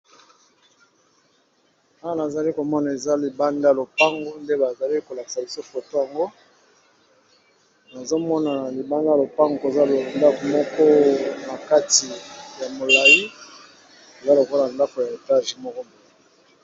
Awa nazali komona eza libanda lopango nde ba zali ko lakisa biso foto ango, nazo mona libanda lopango koza ndako moko na kati ya molayi eza lokola ndako ya etage moko boye.